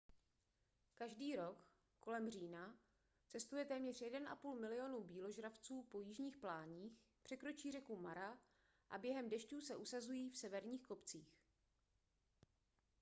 každý rok kolem října cestuje téměř 1,5 milionu býložravců po jižních pláních překročí řeku mara a během dešťů se usazují v severních kopcích